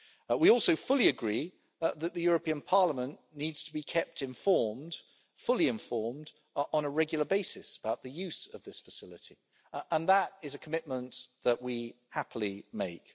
We also fully agree that the European Parliament needs to be kept fully informed on a regular basis about the use of this facility. That is a commitment that we happily make.